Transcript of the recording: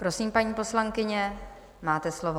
Prosím, paní poslankyně, máte slovo.